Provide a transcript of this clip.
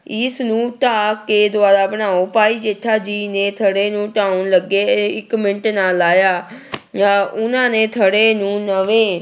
ਇਸਨੂੰ ਢਾਹ ਕੇ ਦੁਬਾਰਾ ਬਣਾਓ ਭਾਈ ਜੇਠਾ ਜੀ ਨੇ ਥੜੇ ਨੂੰ ਢਾਹੁਣ ਲੱਗੇ ਇੱਕ ਮਿੰਟ ਨਾ ਲਾਇਆ ਆ ਉਹਨਾਂ ਨੇ ਥੜੇ ਨੂੰ ਨਵੇਂ